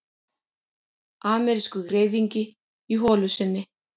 Amerískur greifingi í holu sinni.